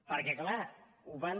perquè clar ho van